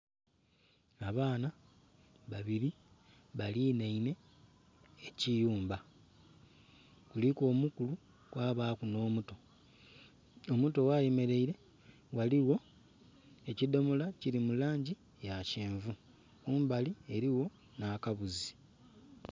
Abaana babiri balinhainhe ekiyumba. Kuliku omukulu kwabaaku nh'omuto. Omuto ghayemeleire ghaligho ekidomola kili mu langi ya kyenvu. Kumbali eliwo nh'akabuzi.